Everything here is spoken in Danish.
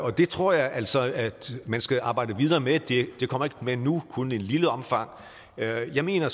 det tror jeg altså at man skal arbejde videre med det kommer ikke med nu kun i et lille omfang jeg mener